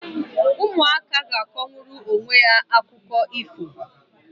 Ụmụaka ga-akọnwuru onwe ha akụkọ ifo.